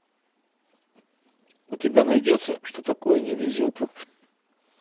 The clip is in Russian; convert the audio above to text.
у тебя найдется что такое не везет